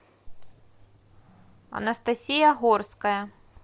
анастасия горская